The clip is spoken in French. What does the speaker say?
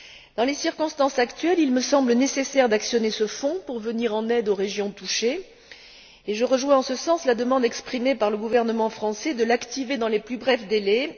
Dans les circonstances actuelles, il me semble nécessaire d'actionner ce fonds pour venir en aide aux régions touchées, et je rejoins en ce sens la demande exprimée par le gouvernement français de l'activer dans les plus brefs délais.